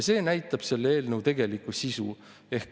See näitab selle eelnõu tegelikku sisu.